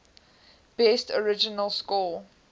best original score